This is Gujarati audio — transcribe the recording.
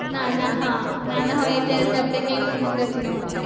નાના હા નાના હોય ત્યારેતો આપણે કઈ મગજ ના હોટ